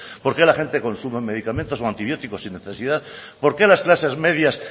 por qué la gente consume medicamentos y antibióticos sin necesidad por qué las clases medias